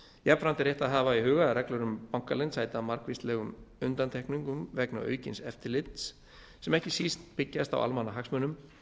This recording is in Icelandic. jafnframt er rétt að hafa í huga að reglur um bankaleynd sæta margvíslegum undantekningum vegna aukins eftirlits sem ekki síst byggjast á almannahagsmunum